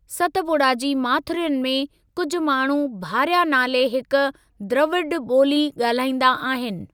सतपुड़ा जी माथिरियुनि में कुझ माण्हू भारिया नाले हिक द्रविड़ ॿोली ॻाल्हाईंदा आहिनि।